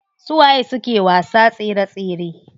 Su waye suke wasa tsere tsere?